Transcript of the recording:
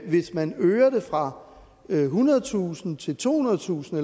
hvis man øger det fra ethundredetusind kroner til tohundredetusind